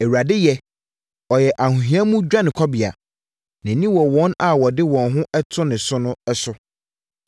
Awurade yɛ, ɔyɛ ahohia mu dwanekɔbea. Nʼani wɔ wɔn a wɔde wɔn ho to no so no so.